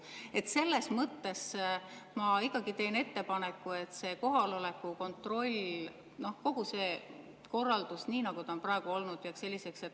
Nii et selles mõttes ma ikkagi teen ettepaneku, et see kohaloleku kontroll, kogu see korraldus, nii nagu ta on praegu olnud, jääks selliseks.